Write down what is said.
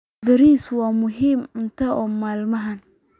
Bariis waa muhiim cunto maalinle ah.